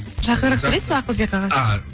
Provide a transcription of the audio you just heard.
жақынырақ сөйлейсіз бе ақылбек аға ааа